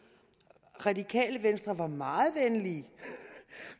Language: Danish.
radikale venstre var meget venlige